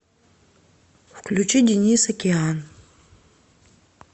включи денис океан